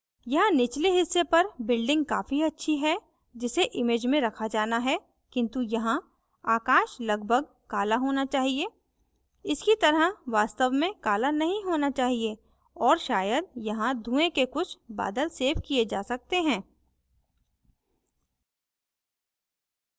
यहाँ निचले हिस्से पर building काफी अच्छी है जिसे image में रखा जाना है किन्तु यहाँ आकाश लगभग काला होना चाहिए इसकी तरह वास्तव में काला नहीं होना चाहिए और शायद यहाँ धुएं के कुछ बादल सेव the जा सकते हैं